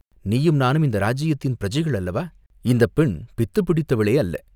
நீயும் நானும் இந்த ராஜ்யத்தின் பிரஜைகள் அல்லவா, இந்தப் பெண் பித்துப் பிடித்தவளே அல்ல.